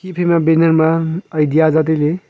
ephai ma banner ma idea za tai ley.